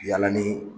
Yalanni